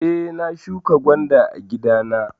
Eh, na shuƙa gwanda a gida na.